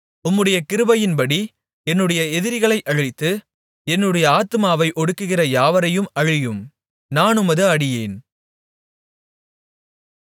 உம்முடைய கிருபையின்படி என்னுடைய எதிரிகளை அழித்து என்னுடைய ஆத்துமாவை ஒடுக்குகிற யாவரையும் அழியும் நான் உமது அடியேன்